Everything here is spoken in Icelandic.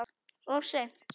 Of seint